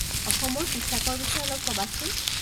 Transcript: অসমৰ পোছাকৰ বিষয়ে অলপ কবাচোন